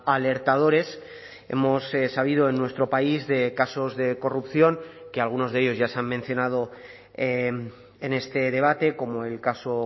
a alertadores hemos sabido en nuestro país de casos de corrupción que algunos de ellos ya se han mencionado en este debate como el caso